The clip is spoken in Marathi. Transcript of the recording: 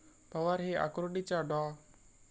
पवार हे आकुर्डीच्या डॉ.